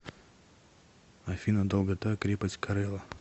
афина долгота крепость корела